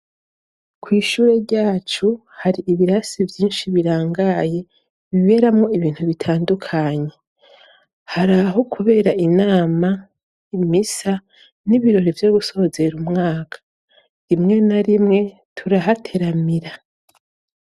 Kw'ishure ryacu, hari ibirasi vyinshi birangaye, biberamwo ibintu bitandukanye. Hari aho kubera inama, imisa, n'ibirori vyo gusozera umwaka. Rimwe na rimwe, turahateramira.